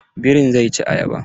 Birin zai ci ayaba.